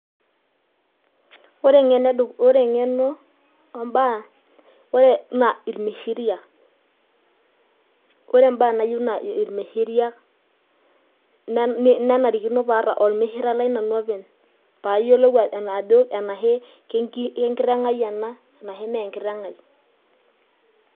Ore eng'eno o embaa naa irmishiriak, ore eng'eno nayieu naa irmishiriak nenarikino paata ormishiere lai nanu openy' paa ayiolou enaa kengiteng' ai ena arashu mee enkiteng' ai.